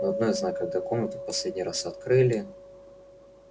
но одно я знаю когда комнату в последний раз открыли